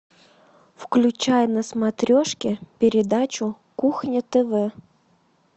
включай на смотрешке передачу кухня тв